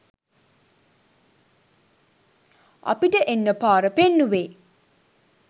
අපිට එන්න පාර පෙන්නුවේ